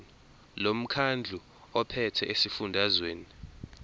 lomkhandlu ophethe esifundazweni